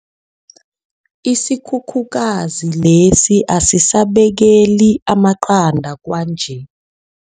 Isikhukhukazi lesi asisabekeli amaqanda kwanje.